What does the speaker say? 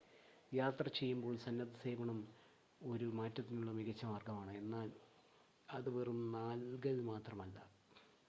യാത്ര ചെയ്യുമ്പോൾ സന്നദ്ധസേവനം ഒരു മാറ്റത്തിനുള്ള മികച്ച മാർഗമാണ് എന്നാൽ അത് വെറും നൽകൽ മാത്രമല്ല